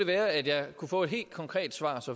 være at jeg kunne få et helt konkret svar